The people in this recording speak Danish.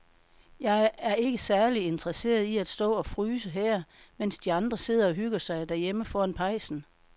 Jeg er ikke særlig interesseret i at stå og fryse her, mens de andre sidder og hygger sig derhjemme foran pejsen.